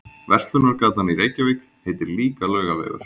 Verslunargatan í Reykjavík heitir líka Laugavegur.